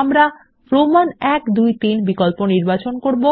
আমরা রোমান ই আইআই ইআইআই বিকল্প নির্বাচন করব